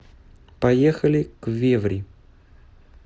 поехали квеври